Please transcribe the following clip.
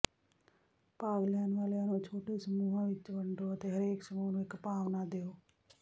ਭਾਗ ਲੈਣ ਵਾਲਿਆਂ ਨੂੰ ਛੋਟੇ ਸਮੂਹਾਂ ਵਿੱਚ ਵੰਡੋ ਅਤੇ ਹਰੇਕ ਸਮੂਹ ਨੂੰ ਇੱਕ ਭਾਵਨਾ ਦਿਉ